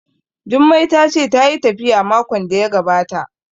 Jummai ta ce tayi tafiya makon da ya gabata